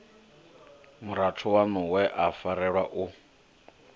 murathu waṋuwe a farelwa u